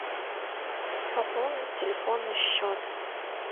пополнить телефонный счет